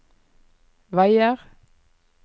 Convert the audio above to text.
veier